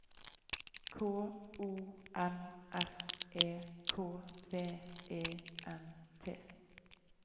K O N S E K V E N T